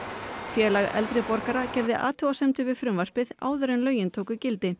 félag eldri borgara gerði athugasemdir við frumvarpið áður en lögin tóku gildi